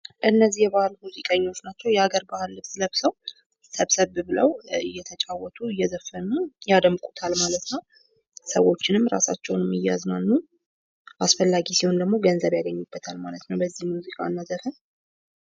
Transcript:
እነዚህ የባህል ሙዚቀኞች ናቸው። የባህል ልብስ ለብሰው ሰብሰብ ብለው እየተጫወቱ እየዘፈኑ ያደምቁታል ማለት ነው። ሰዎችንም እራሳቸውንም እያዝናኑ አስፈላጊ ሲሆን ደግሞ ገንዘብ ያገኙበታል በዚህ ሙዚቂና ዘፈን።